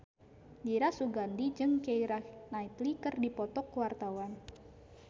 Dira Sugandi jeung Keira Knightley keur dipoto ku wartawan